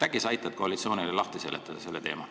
Äkki sa aitad koalitsioonile seda teemat lahti seletada.